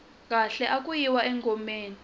khale aku yiwa engomeni